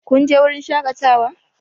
Kun je wurin shakatawa?